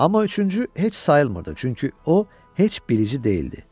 Amma üçüncü heç sayılmırdı, çünki o heç bilici deyildi.